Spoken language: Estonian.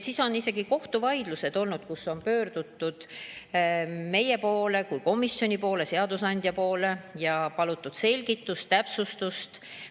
On isegi kohtuvaidlused olnud, on pöördutud meie kui komisjoni poole, seadusandja poole ja palutud selgitust, täpsustust.